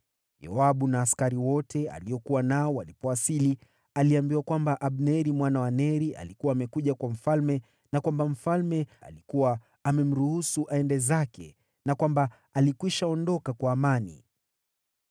Yoabu na askari wote aliokuwa nao walipowasili, aliambiwa kwamba Abneri mwana wa Neri alikuwa amekuja kwa mfalme na kwamba mfalme alikuwa amemruhusu aende zake, na kwamba alikwisha ondoka kwa amani.